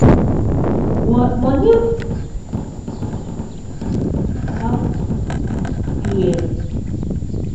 money wahala don make her feel somehow about herself all year.